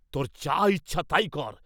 তোর যা ইচ্ছা তাই কর।